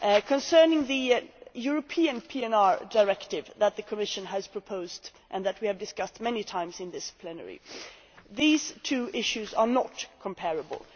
Concerning the European PNR Directive that the Commission has proposed and that we have discussed many times in this plenary, these two issues are not comparable.